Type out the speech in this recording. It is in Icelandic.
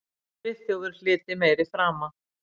Friðþjófur hlyti meiri frama.